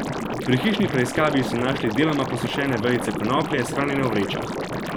Pri hišni preiskavi so našli deloma posušene vejice konoplje, shranjene v vrečah.